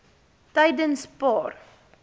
tydenspaar